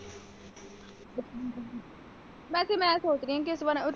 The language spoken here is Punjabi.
ਵੈਸੇ ਮੈਂ ਸੋਚ ਰਹੀ ਹਾਂ ਕਿ ਇਸ ਵਾਰ।